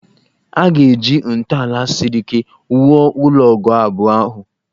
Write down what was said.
A ga-eji ntọala siri ike wuo ụlọ ogoo abụọ ahụ